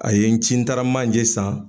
A ye n ci n taara manjɛ san